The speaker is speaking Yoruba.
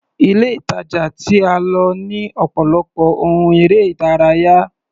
Ile-ìtàjà tí a lọ ní ọ̀pọ̀lọpọ̀ ohun eré-ìdárayá.